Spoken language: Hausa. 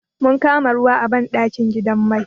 Mun kama ruwa a banɗakin gidan mai.